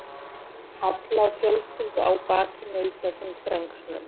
Halla og fjölskyldu á bakinu í þessum þrengslum.